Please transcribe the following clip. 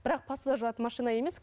бірақ посуда жуатын машина емес